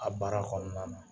A baara kɔnɔna na.